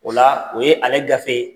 O la, o ye ale gafe